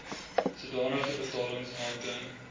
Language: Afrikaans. sodanige betalings aantoon